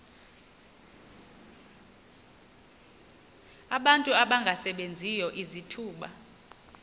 abantu abangasebenziyo izithuba